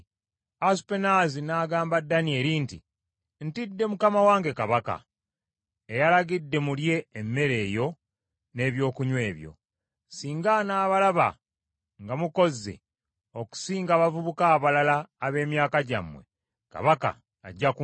Asupenaazi n’agamba Danyeri nti, “Ntidde mukama wange kabaka, eyalagidde mulye emmere eyo n’ebyokunywa ebyo. Singa anaabalaba nga mukozze okusinga abavubuka abalala ab’emyaka gyammwe, kabaka ajja kunzita.”